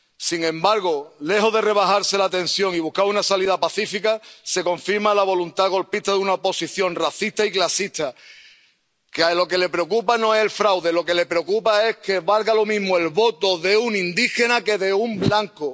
Sin embargo, lejos de rebajarse la tensión y buscar una salida pacífica, se confirma la voluntad golpista de una oposición racista y clasista, a la cual lo que le preocupa no es el fraude, lo que le preocupa es que valga lo mismo el voto de un indígena que el de un blanco.